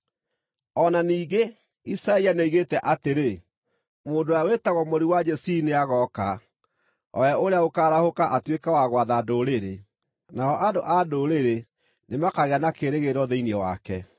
O na ningĩ, Isaia nĩoigĩte atĩrĩ, “Mũndũ ũrĩa wĩtagwo Mũri wa Jesii nĩagooka, o we ũrĩa ũkaarahũka atuĩke wa gwatha ndũrĩrĩ, nao andũ-acio-a-Ndũrĩrĩ nĩmakaagĩa na kĩĩrĩgĩrĩro thĩinĩ wake.”